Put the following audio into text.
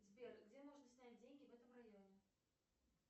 сбер где можно снять деньги в этом районе